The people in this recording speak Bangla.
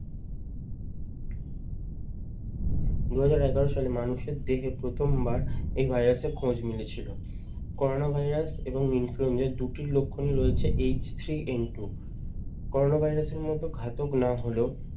দুই হাজার এগারো সালে মানুষের দেহে প্রথমবার এই ভাইরাস এর খোঁজ মিলেছিল। করোনা ভাইরাস এবং influenza এর দুইটি লক্ষণই রয়েছে H three N two corona ভাইরাসের মতো ঘাতক না হলেও